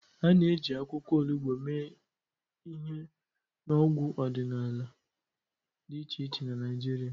A na-eji akwụkwọ olugbo mee ihe n'ọgwụ ọdịnala dị iche iche na Naịjirịa.